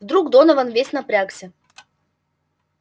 вдруг донован весь напрягся